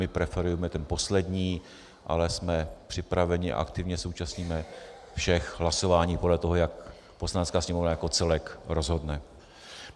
My preferujeme ten poslední, ale jsme připraveni, aktivně se účastníme všech hlasování podle toho, jak Poslanecká sněmovna jako celek rozhodne.